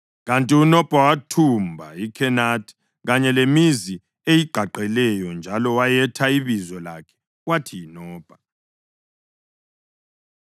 Kanti uNobha wathumba iKhenathi kanye lemizi eyigqagqeleyo njalo wayetha ibizo lakhe wathi yiNobha.